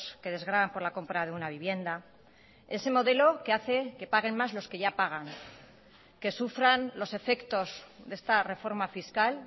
que desgravan por la compra de una vivienda ese modelo que hace que paguen más los que ya pagan que sufran los efectos de esta reforma fiscal